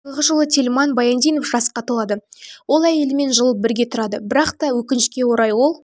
биылғы жылы тельман баяндинов жасқа толады ол әйелімен жыл бірге тұрады бірақта өкінішке орай ол